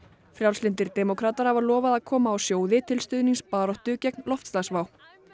frjálslyndir demókratar hafa lofað að koma á sjóði til stuðnings baráttu gegn loftslagsvá